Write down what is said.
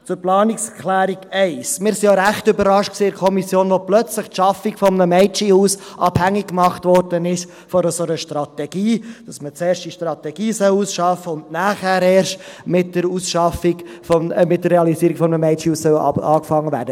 Zur Planungserklärung 1: Wir waren in der Kommission auch recht überrascht, als plötzlich die Schaffung eines Mädchenhauses von einer solchen Strategie abhängig gemacht wurde, dass man zuerst die Strategie ausarbeiten und nachher erst mit der Realisierung eines Mädchenhauses beginnen soll.